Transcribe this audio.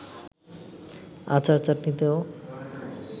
আচার-চাটনিতেও